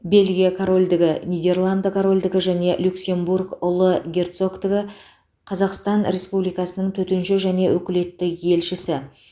бельгия корольдігі нидерланды корольдігі және люксембург ұлы герцогтігі қазақстан республикасының төтенше және өкілетті елшісі